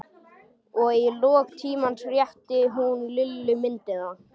Og í lok tímans rétti hún Lillu myndina.